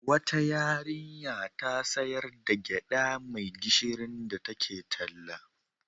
Wata yarinya ta sayar da gyaɗa mai gishirin da take talla.